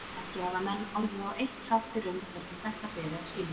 Ekki hafa menn orðið á eitt sáttir um hvernig þetta beri að skilja.